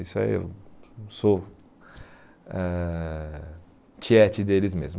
Isso aí, eu sou ãh tiete deles mesmos.